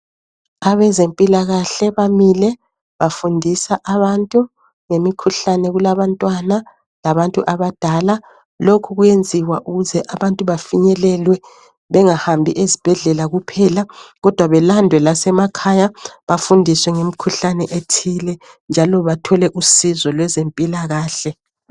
Abezempilakahle bamile bafundisa abantu ngemikhuhlane, kulabantwana labantu abadala. Lokhu kuyenziwa ukuze abantu bafinyelelwe bengahambi ezibhedlela kuphela kodwa belandwe lasemakhaya bafundiswe ngemikhuhlane ethile njalo bathole usizo lwezempilahle.